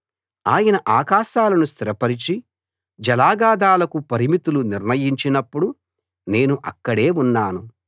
ఆయన ఆకాశాలను స్థిరపరచి జలాగాథాలకు పరిమితులు నిర్ణయించినప్పుడు నేను అక్కడే ఉన్నాను